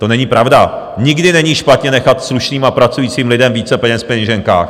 To není pravda, nikdy není špatně nechat slušným a pracujícím lidem více peněz v peněženkách.